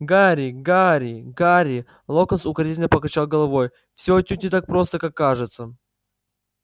гарри гарри гарри локонс укоризненно покачал головой всё отнюдь не так просто как кажется